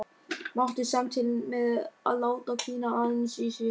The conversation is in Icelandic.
Mátti samt til með að láta hvína aðeins í sér.